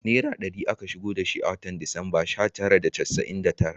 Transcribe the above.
Naira ɗari aka shigo da shi a watan Disamba sha tara da casa’in da tara